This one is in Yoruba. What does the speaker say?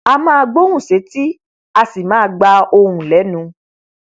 a máa gbóhùn sétí a sì máa gba ohùn lẹnù